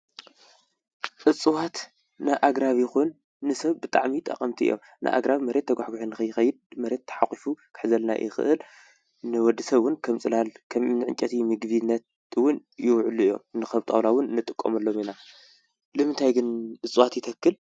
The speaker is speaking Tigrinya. እፅዋት ንኣግራብ ይኩን ንሰብ ብጣዕሚ ጠቀምቲ እዮም ንኣግራብ መሬት ትጓሕጉሑ ንከይከይድ መሬት ተሕቂፍ ክሕዘልና ይክእል ንወድሰብ እዉን ከም ፅላል ከምኒ ዕንጨይቲ ምግብነት እዉን ይዉዕሉ እዮም ንከም ጣዉላ እዉን ንጥቀመሎም ኢና ንምንታይ ግን እፅዋት ይተክል?